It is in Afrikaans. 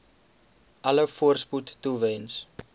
alle voorspoed toewens